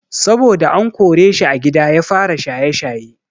Saboda an koreshi a gida ya fara shaye-shaye.